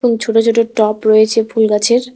এবং ছোটো ছোটো টপ রয়েছে ফুলগাছের।